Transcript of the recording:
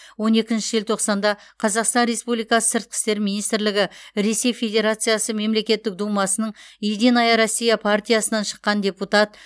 он екінші желтоқсанда қазақстан республикасы сыртқы істер министрлігі ресей федерациясы мемлекеттік думасының единая россия партиясынан шыққан депутат